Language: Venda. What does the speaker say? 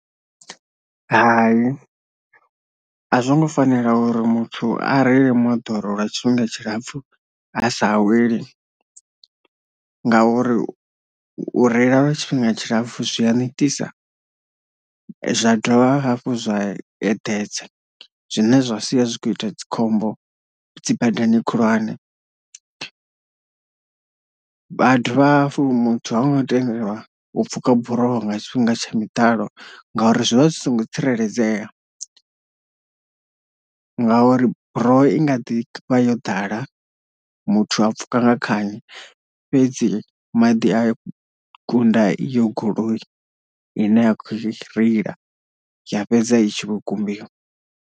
Hai a zwongo fanela uri muthu a reile moḓoro lwa tshifhinga tshilapfhu a sa aweli, ngauri u reila lwa tshifhinga tshilapfhu zwi a netisa zwa dovha hafhu zwa eḓedza zwine zwa sia zwi kho ita dzi khombo dzi badani khulwane, vha dovha hafhu muthu ha ngo tendelwa u pfhuka buroho nga tshifhinga tsha miḓalo nga uri zwi vha zwi songo tsireledzea nga uri buroho i nga ḓi vha yo ḓala muthu a pfhuka nga khani fhedzi maḓi a kunda iyo goloi ine ya kho reila ya fhedza itshi kho kumbiwa.